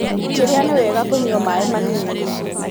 ũkĩrĩa nĩwega kũnyua maĩmanini.